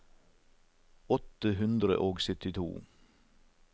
åtte hundre og syttito